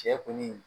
Cɛ kɔni